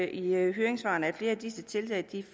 i høringssvarene at flere af disse tiltag